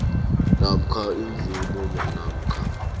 namkha imvumo namkha